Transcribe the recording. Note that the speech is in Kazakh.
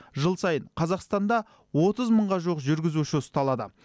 жыл сайын қазақстанда отыз мыңға жуық жүргізуші ұсталады